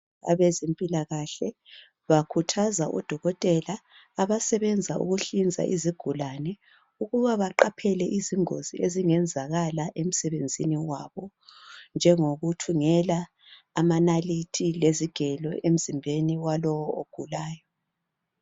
Abazempilakahle bakhuthaza odokotela abasebenza ukuhlinza izigulane ukuba baqaphele izingozi ezingenzakala emsebenzini wabo njengokuthungela amanalithi lezigelo emzimbeni walowo ogulayo.